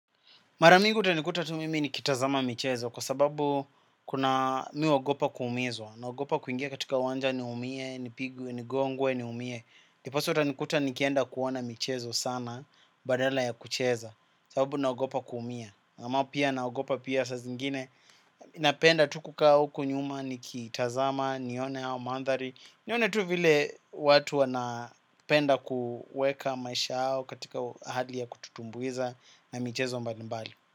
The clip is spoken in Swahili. Mara mingi utanikuta tu mimi ni kitazama michezo kwa sababu kuna mi uogopa kuumizwa. Naogopa kuingia katika uwanja niumie, nipigwe, nigongwe niumie. Ndiposa utanikuta nikienda kuona michezo sana, badala ya kucheza, sababu naogopa kuumia. Ama pia naogopa pia saa zingine. Napenda tu kukaa huku nyuma nikiitazama, nione au mandhari. Nione tu vile watu wanapenda kuweka maisha yao katika hali ya kututumbuiza na michezo mbalimbali.